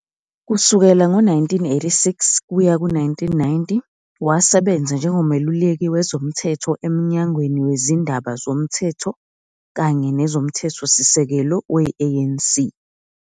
Kusukela ngo-1986 kuya ku-1990 wasebenza njengomeluleki wezomthetho eMnyangweni Wezindaba Zomthetho kanye Nezomthethosisekelo we-ANC.